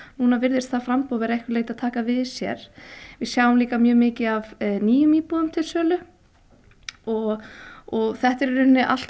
núna virðist framboð að einhverju leyti vera að taka við sér við sjáum líka mjög mikið af nýjum íbúðum til sölu og og þetta eru allt